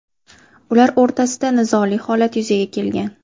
Ular o‘rtasida nizoli holat yuzaga kelgan.